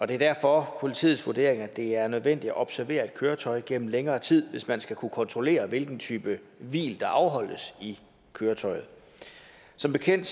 det er derfor politiets vurdering at det er nødvendigt at observere et køretøj gennem længere tid hvis man skal kunne kontrollere hvilken type hvil der afholdes i køretøjet som bekendt